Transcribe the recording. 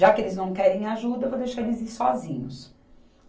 Já que eles não querem ajuda, eu vou deixar eles ir sozinhos.